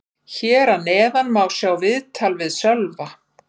Hér að neðan má sjá viðtal við Sölva.